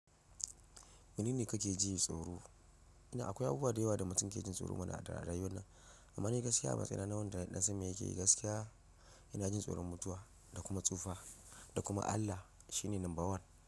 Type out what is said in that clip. Wane ne ka ke jin tsoro? Ina akwai abubuwa da yawa da mutum ke jin tsoro mana a rayuwa nan, amma ni gaskiya matsayina na wanda yasan me yake yi gaskiya ina jin tsoron mutuwa da kuma tsufa da kuma Allah shi ne number one.